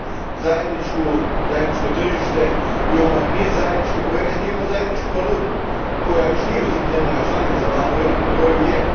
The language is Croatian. Imamo zajedničko tržište, imamo niz zajedničkih projekata, imamo zajedničku valutu, koja još nije u svim zemljama članicama, ali u velikom broju jest.